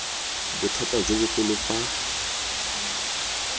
bothata jo bogolo fa a